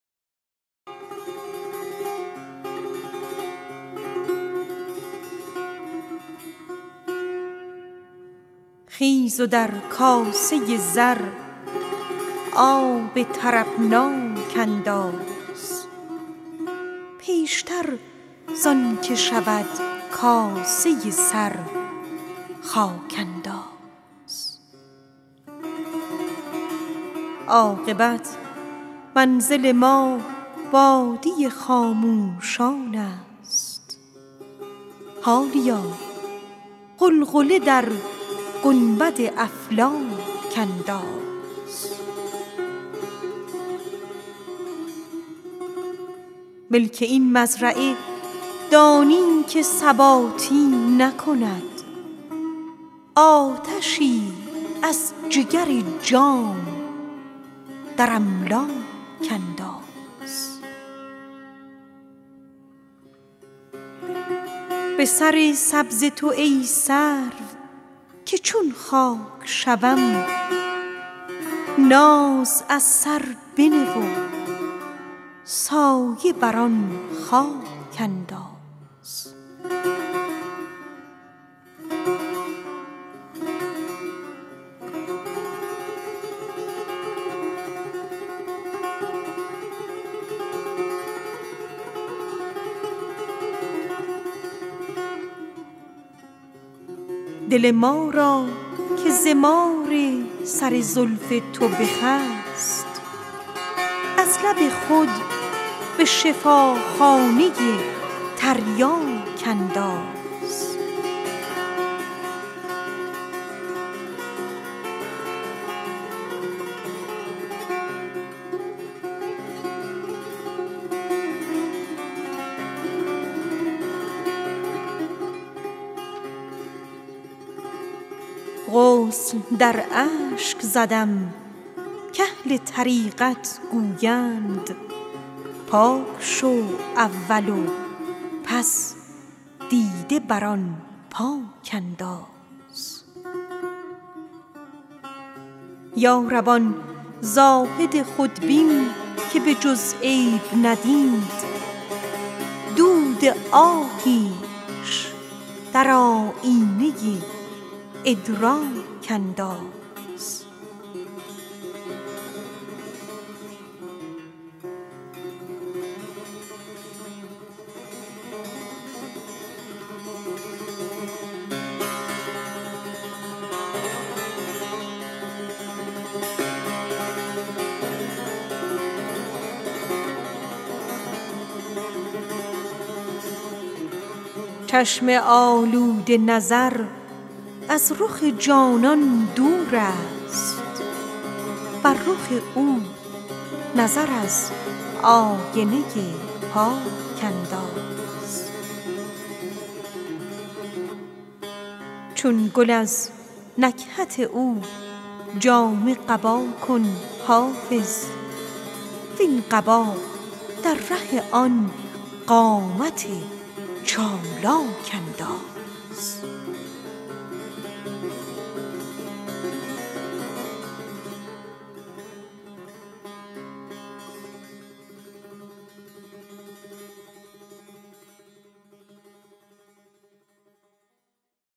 خیز و در کاسه زر آب طربناک انداز پیشتر زان که شود کاسه سر خاک انداز عاقبت منزل ما وادی خاموشان است حالیا غلغله در گنبد افلاک انداز چشم آلوده نظر از رخ جانان دور است بر رخ او نظر از آینه پاک انداز به سر سبز تو ای سرو که گر خاک شوم ناز از سر بنه و سایه بر این خاک انداز دل ما را که ز مار سر زلف تو بخست از لب خود به شفاخانه تریاک انداز ملک این مزرعه دانی که ثباتی ندهد آتشی از جگر جام در املاک انداز غسل در اشک زدم کاهل طریقت گویند پاک شو اول و پس دیده بر آن پاک انداز یا رب آن زاهد خودبین که به جز عیب ندید دود آهیش در آیینه ادراک انداز چون گل از نکهت او جامه قبا کن حافظ وین قبا در ره آن قامت چالاک انداز